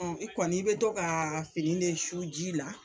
i kɔni i bɛ to kaa fini de su ji la